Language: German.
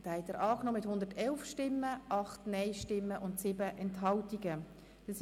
Sie haben den Antrag Regierungsrat und SiK mit 111 Ja- zu 8 Nein-Stimmen bei 7 Enthaltungen angenommen.